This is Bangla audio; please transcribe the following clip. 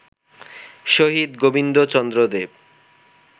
শহীদ গোবিন্দ চন্দ্র দেব